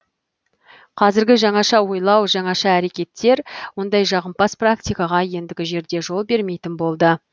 қазіргі жаңаша ойлау жаңаша әрекеттер ондай жағымпаз практикаға ендігі жерде жол бермейтін болды